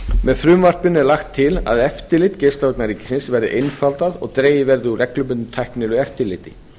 með frumvarpinu er lagt til að eftirlit geislavarna ríkisins verði einfaldað og dregið verði úr reglubundnu tæknilegu eftirliti